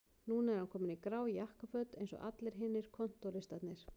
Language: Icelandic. Núna er hann kominn í grá jakkaföt eins og allir hinir kontóristarnir